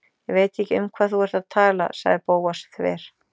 Ég veit ekki um hvað þú ert að tala- sagði Bóas þver